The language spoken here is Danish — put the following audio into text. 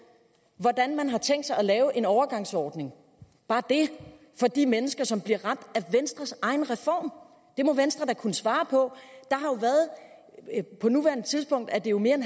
hvordan man har tænkt sig at lave en overgangsordning bare det for de mennesker som bliver ramt af venstres egen reform det må venstre da kunne svare på på nuværende tidspunkt er det mere end